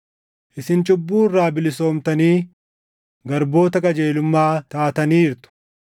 Isin cubbuu irraa bilisoomtanii garboota qajeelummaa taataniirtu.